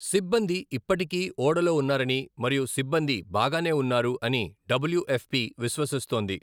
సిబ్బంది ఇప్పటికీ ఓడలో ఉన్నారని మరియు సిబ్బంది 'బాగానే ఉన్నారు' అని డబ్ల్యు ఎఫ్ పి విశ్వసిస్తోంది.